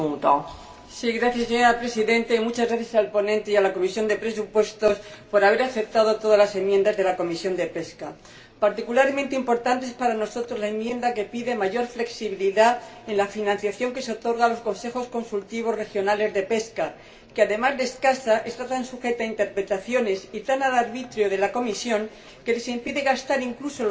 Señora Presidenta, muchas gracias al ponente y a la Comisión de Presupuestos por haber aceptado todas las enmiendas de la Comisión de Pesca. Particularmente importante es para nosotros la enmienda que pide mayor flexibilidad en la financiación que se otorga a los consejos consultivos regionales de pesca, que, además de escasa, está tan sujeta a interpretaciones y tan al arbitrio de la Comisión que les impide gastar incluso lo poco que tienen